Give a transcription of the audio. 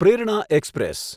પ્રેરણા એક્સપ્રેસ